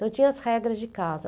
Então, tinha as regras de casa.